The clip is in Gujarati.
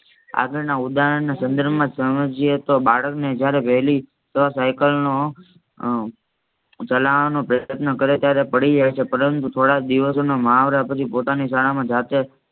આગળના ઉદાહરણના સંદર્ભમાં સમજીએ તો બાળક ને જયારે વહેલી સાયકલ ચલાવવાનો પ્રયત્ન કરે ત્યારે પડી જાય છે પરંતુ થોડા દિવસોના મહાવરા પછી પોતાની શાળામાં જાતે